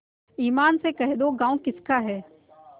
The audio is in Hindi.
ईमान से कह दो गॉँव किसका है